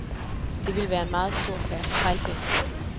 Det vil være en meget stor fejltagelse.